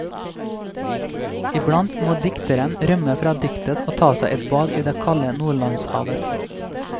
Iblant må dikteren rømme fra diktet og ta seg et bad i det kalde nordlandshavet.